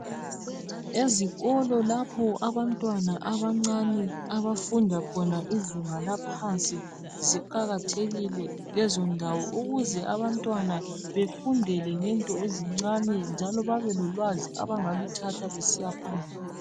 Ezikolo lapha abantwana abancane abafunda khona izinga laphansi ziqakathekile lezindawo ukuze abantwana bafundele ngento ezincane njalo babelolwazi abangaluthatha besiyaphambili